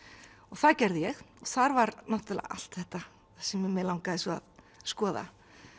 það gerði ég og þar var allt þetta sem mig langaði svo að skoða